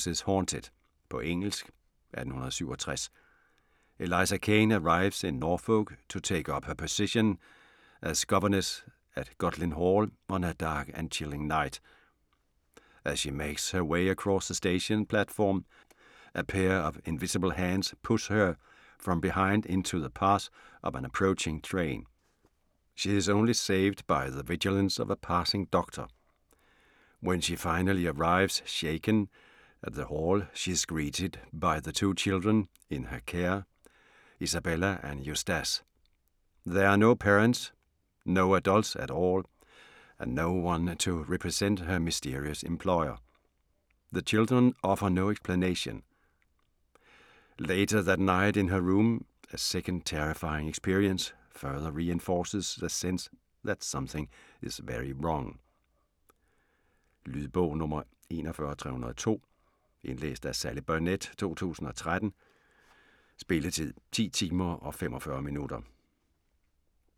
Boyne, John: This house is haunted På engelsk. 1867. Eliza Caine arrives in Norfolk to take up her position as governess at Gaudlin Hall on a dark and chilling night. As she makes her way across the station platform, a pair of invisible hands push her from behind into the path of an approaching train. She is only saved by the vigilance of a passing doctor. When she finally arrives, shaken, at the hall she is greeted by the two children in her care, Isabella and Eustace. There are no parents, no adults at all, and no one to represent her mysterious employer. The children offer no explanation. Later that night in her room, a second terrifying experience further reinforces the sense that something is very wrong. Lydbog 41302 Indlæst af Sally Burnett, 2013. Spilletid: 10 timer, 45 minutter.